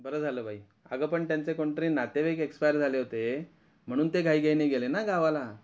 बर झालं बाई अग पण त्यांच कोणतरी नातेवाईक एक्सपायर झाले होते म्हणून ते घाई घाईने गेले ना गावाला.